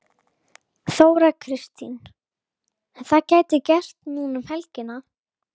Þóra Kristín: En það gæti gerst núna um helgina?